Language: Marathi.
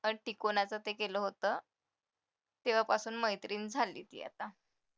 कोणाचं ते केलं होतं तेव्हापासून मैत्रीण झाले ती आता